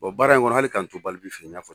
O baara in kɔnɔ hali k'an to fɛ yen n y'a fɔ